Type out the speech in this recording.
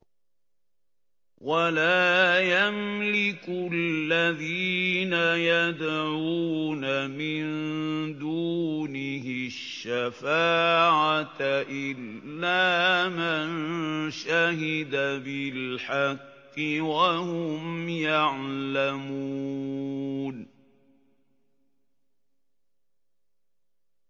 وَلَا يَمْلِكُ الَّذِينَ يَدْعُونَ مِن دُونِهِ الشَّفَاعَةَ إِلَّا مَن شَهِدَ بِالْحَقِّ وَهُمْ يَعْلَمُونَ